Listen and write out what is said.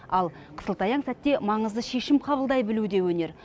ал қысылтаяң сәтте маңызды шешім қабылдай білу де өнер